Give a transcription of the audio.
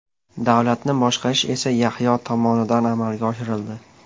Davlatni boshqarish esa Yahyo tomonidan amalga oshirildi.